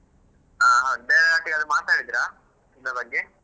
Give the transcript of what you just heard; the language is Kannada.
ಹಾ ಬೇರೆಯವರೊಟ್ಟಿಗೆಲ್ಲಾ ಮಾತಾಡಿದ್ರಾ ಇದ್ರ ಬಗ್ಗೆ.